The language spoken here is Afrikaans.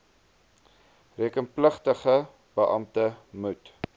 rekenpligtige beampte moet